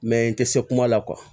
Mɛ n tɛ se kuma la